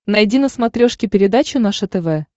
найди на смотрешке передачу наше тв